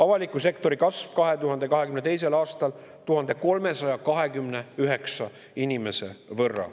Avalik sektor kasvas 2022. aastal 1329 inimese võrra.